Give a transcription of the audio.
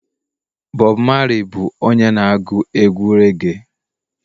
Bob Marley bụ onye na agu egwu reage